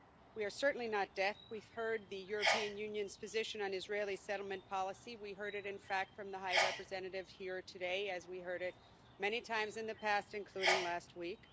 We are certainly not deaf we've heard the European Union's position on Israeli settlement policy. We heard it, in fact, from the High Representative here today, as we have heard it many times in the past, including last week.